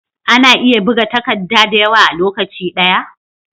Ana iya buga takadda dayawa a lokaci daya?